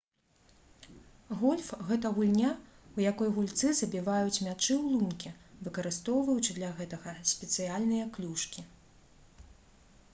гольф гэта гульня у якой гульцы забіваюць мячы ў лункі выкарыстоўваючы для гэтага спецыяльныя клюшкі